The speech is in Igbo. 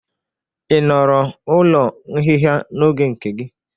Ị nọrọ ụlọ nhịha n'oge nke gị?